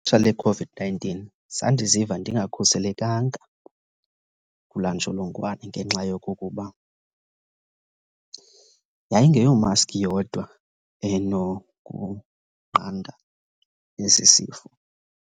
leCOVID-nineteen zandiziva ndingakhuselekanga kulaa ntsholongwane ngenxa yokokuba yayingeyomaski yodwa enokunqanda esi sifo.